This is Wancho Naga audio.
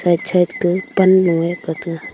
ek side ga pannu e kataga.